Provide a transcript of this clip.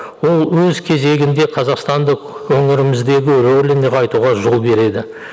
ол өз кезегінде қазақстандық өңіріміздегі рөлін нығайтуға жол береді